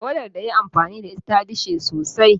Tawada da ya yi amfani da ita ta dishe sosai.